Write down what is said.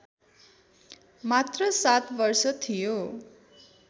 मात्र ७ वर्ष थियो